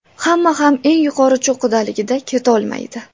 Hamma ham eng yuqori cho‘qqidaligida ketolmaydi.